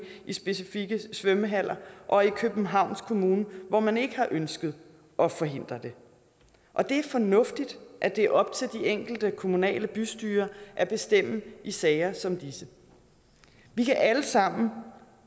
i specifikke svømmehaller og i københavns kommune hvor man ikke har ønsket at forhindre det og det er fornuftigt at det er op til de enkelte kommunale bystyrer at bestemme i sager som disse vi kan alle sammen